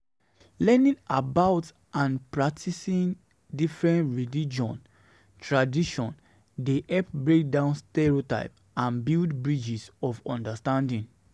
Learning about and practicing different religious traditions dey help break down stereotypes and build bridges of understanding.